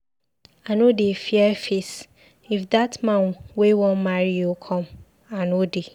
I no dey fear face, if dat man wey wan marry you come ,I no dey.